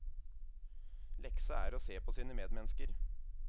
Leksa er å se på sine medmennesker.